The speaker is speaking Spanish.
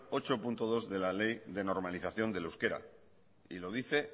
ocho punto dos de la ley de normalización del euskera y lo dice